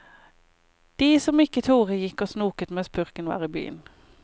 De som ikke torde gikk og snoket mens purken var i byen.